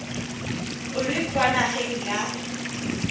o le kwa nageng ya